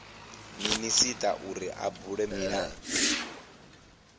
minisita uri a bule milayo